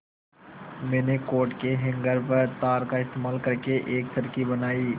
मैंने कोट के हैंगर व तार का इस्तेमाल करके एक चरखी बनाई